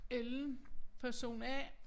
Ellen person A